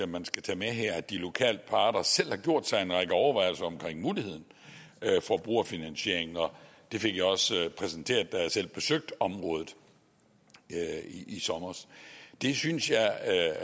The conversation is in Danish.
man skal tage med her at de lokale parter selv har gjort sig en række overvejelser omkring muligheden for brugerfinansiering og det fik jeg også præsenteret da jeg selv besøgte området i sommer det synes jeg